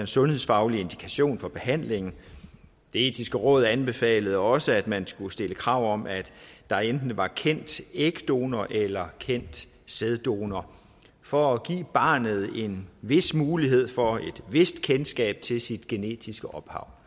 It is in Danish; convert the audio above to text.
sundhedsfaglig indikation for behandlingen det etiske råd anbefalede også at man skulle stille krav om at der enten var kendt ægdonor eller kendt sæddonor for at give barnet en vis mulighed for et vist kendskab til sit genetiske ophav